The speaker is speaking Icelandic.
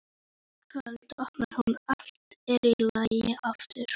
Um kvöldið opnar hún og allt er í lagi aftur.